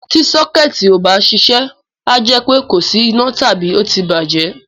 Tí sọ́kẹ́ẹ̀tì ò bá ń ṣiṣẹ́, a jẹ́ pé kò sí iná tàbí ó ti bàjẹ́.